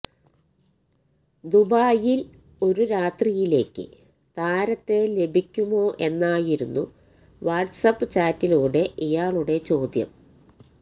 ദുബായില് ഒരു രാത്രിയിലേക്ക് താരത്തെ ലഭിക്കുമോ എന്നായിരുന്നു വാട്സാപ്പ് ചാറ്റിലൂടെ ഇയാളുടെ ചോദ്യം